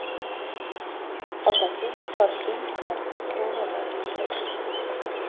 Otasi Toshkent shahar prokurori bo‘lib ishlagan.